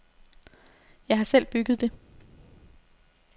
Jeg har selv bygget det.